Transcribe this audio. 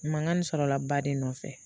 Mankan nin sɔrɔla ba de nɔfɛ